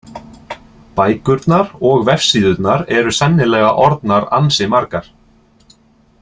Bækurnar og vefsíðurnar eru sennilega orðnar ansi margar.